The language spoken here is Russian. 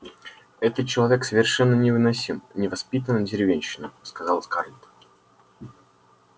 этот человек совершенно невыносим невоспитанная деревенщина сказала скарлетт